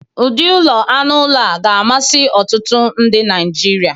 ụdị ụlọ anụ ụlọ ga-amasị ọtụtụ ndị Naijiria.